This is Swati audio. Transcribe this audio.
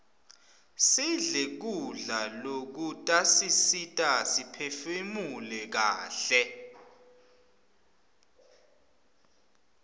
sidle kudla lokutasisita siphefunule kaihle